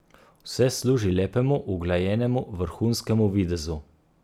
Vse služi lepemu, uglajenemu, vrhunskemu videzu.